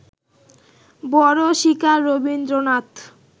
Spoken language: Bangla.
বড় শিকার রবীন্দ্রনাথ